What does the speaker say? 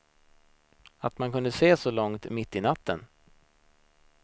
Att man kunde se så långt mitt i natten.